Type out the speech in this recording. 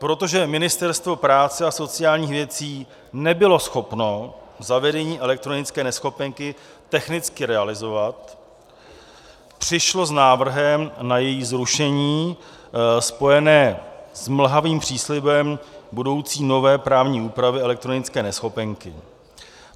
Protože Ministerstvo práce a sociálních věcí nebylo schopno zavedení elektronické neschopenky technicky realizovat, přišlo s návrhem na její zrušení, spojené s mlhavým příslibem budoucí nové právní úpravy elektronické neschopenky.